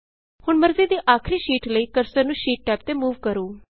ਹੁਣ ਮਰਜ਼ੀ ਦੀ ਆਖਰੀ ਸ਼ੀਟ ਲਈ ਕਰਸਰ ਨੂੰ ਸ਼ੀਟ ਟੈਬ ਤੇ ਮੂਵ ਕਰੋ